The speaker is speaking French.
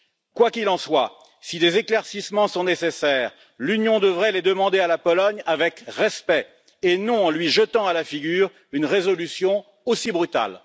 Quoi qu'il en soit, si des éclaircissements sont nécessaires, l'Union devrait les demander à la Pologne avec respect, et non en lui jetant à la figure une résolution aussi brutale.